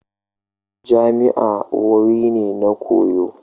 Jami'a wuri ne na koyo.